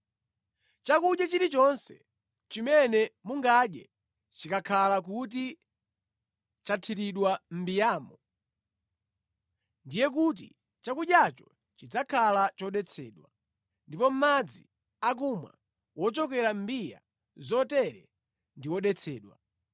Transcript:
Chakudya chilichonse chimene mungadye chikakhala kuti chathiridwa mʼmbiyamo, ndiye kuti chakudyacho chidzakhala chodetsedwa, ndipo madzi akumwa wochokera mʼmbiya zotere ndi wodetsedwa.